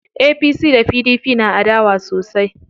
APC da PDP na adawa sosai.